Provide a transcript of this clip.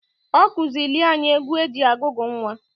Ọ kụzịịlị anyị egwu e ji agụgụ nnwa.